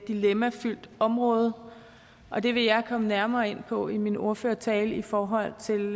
dilemmafyldt område og det vil jeg komme nærmere ind på i min ordførertale i forhold til